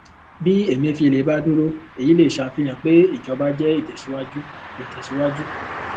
bí emefiele bá dúró èyí lè ṣàfihàn pé ìjọba jẹ ìtẹsíwájú ìtẹsíwájú